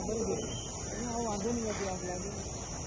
O vaxt o vaxt döyməmişəm axı.